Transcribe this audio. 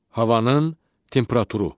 Havanın temperaturu.